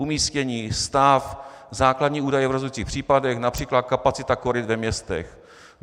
Umístění, stav, základní údaje v rozhodující případech, například kapacita koryt ve městech.